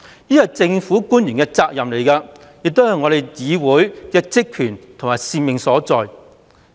這是政府官員的責任，亦是議會的職權及使命所在。